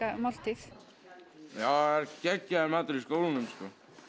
máltíð já það er geggjaður matur í skólanum sko